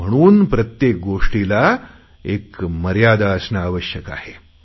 म्हणून प्रत्येक गोष्टीला एक मर्यादा असणे आवश्यक आहे